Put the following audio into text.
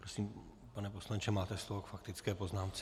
Prosím, pane poslanče, máte slovo k faktické poznámce.